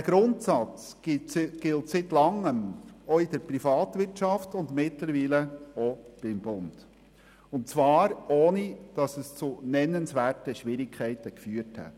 Dieser Grundsatz gilt seit Langem auch in der Privatwirtschaft und mittlerweile auch beim Bund, und zwar, ohne dass dies zu nennenswerten Schwierigkeiten geführt hätte.